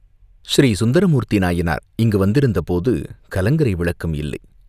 ஸ்ரீசுந்தரமூர்த்தி நாயனார் இங்கு வந்திருந்தபோது கலங்கரை விளக்கம் இல்லை.